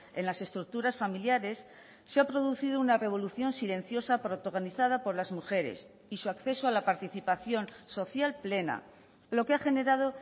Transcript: en las estructuras familiares se ha producido una revolución silenciosa protagonizada por las mujeres y su acceso a la participación social plena lo que ha generado